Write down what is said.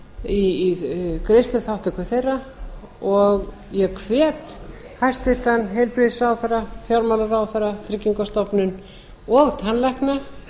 í greiðsluþátttöku þeirra og ég hvet hæstvirtan heilbrigðisráðherra fjármálaráðherra tryggingastofnun og tannlækna